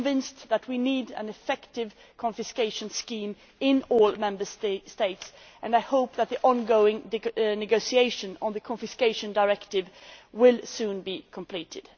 I am convinced that we need an effective confiscation scheme in all Member States, and I hope that the on going negotiation on the Confiscation Directive will soon be completed.